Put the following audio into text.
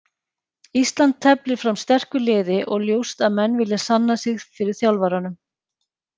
Ísland teflir fram sterku liði og ljóst að menn vilja sanna sig fyrir þjálfaranum.